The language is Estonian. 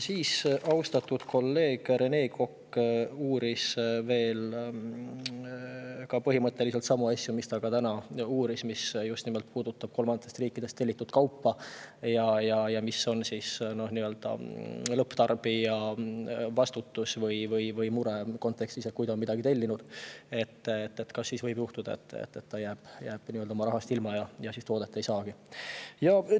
Siis uuris austatud kolleeg Rene Kokk põhimõtteliselt sama asja kohta, mille kohta ta ka täna uuris, mis just nimelt puudutab kolmandatest riikidest tellitud kaupa ja lõpptarbija muret selles kontekstis: kui ta on midagi tellinud, kas siis võib juhtuda, et ta jääbki rahast ilma ja toodet ei saagi?